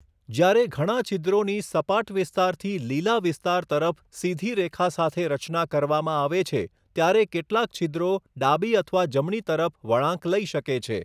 જ્યારે ઘણા છિદ્રોની સપાટ વિસ્તારથી લીલા વિસ્તાર તરફ સીધી રેખા સાથે રચના કરવામાં આવે છે, ત્યારે કેટલાક છિદ્રો ડાબી અથવા જમણી તરફ વળાંક લઈ શકે છે.